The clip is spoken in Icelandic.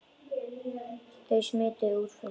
Þau smituðu út frá sér.